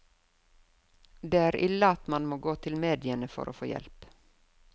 Det er ille at man må gå til mediene for å få hjelp.